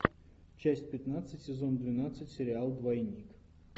часть пятнадцать сезон двенадцать сериал двойник